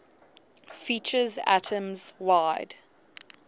features atoms wide